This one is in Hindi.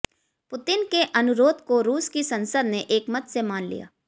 पुतिन के अनुरोध को रूस की संसद ने एकमत से मान लिया